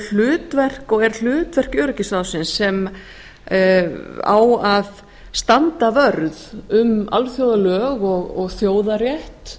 hlutverk og er hlutverk öryggisráðsins sem á að standa vörð um alþjóðalög og þjóðarétt